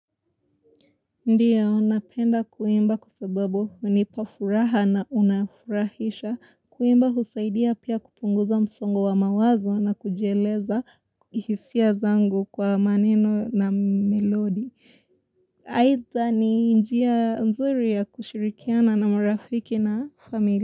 Ndiya napenda kuimba kwa sababu hunipa furaha na unafurahisha. Kuimba husaidia pia kupunguza msongo wa mawazo na kujieleza hisia zangu kwa maneno na melodi. Aidha ni njia mzuri ya kushirikiana na marafiki na familia.